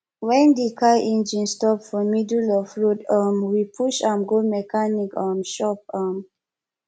wen di car engine stop for middle of road um we push am go mechanic um shop um